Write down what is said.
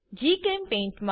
જીચેમ્પેઇન્ટ